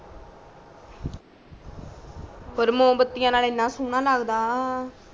ਔਰ ਮੋਮਬੱਤੀਆਂ ਨਾਲ ਏਨਾ ਸ਼ੋਣਾ ਲਗਦਾ